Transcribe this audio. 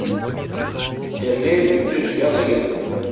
сергей викторович яныгин